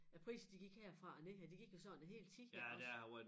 At prisen de gik herfra og ned her de gik jo sådan hele tiden her også